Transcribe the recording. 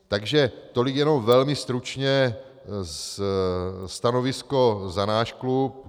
Takže tolik jenom velmi stručně stanovisko za náš klub.